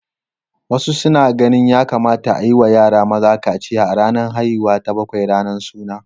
Wasu suna ganin ya kamata a yi wa yara maza kaciya a ranar haihuwa ta bakwai, ranar suna.